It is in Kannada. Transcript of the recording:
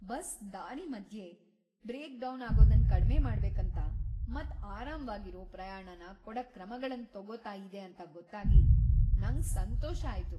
ಬಸ್ ದಾರಿ ಮದ್ಯೆ ಬಾಕಿ ಆಗೋದನ್ ಕಡ್ಮೆ ಮಾಡ್ಬೇಕಂತ , ಮತ್ ಆರಾಮ್ವಾಗಿರೋ ಪ್ರಯಾಣನ ಕೊಡಕ್ ಕ್ರಮಗಳನ್ ತಗೋತಾ ಇದೆ ಅಂತ ಗೊತ್ತಾಗಿ ನಂಗ್ ಸಂತೋಷ ಆಯ್ತು.